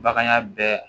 Bagan ya bɛɛ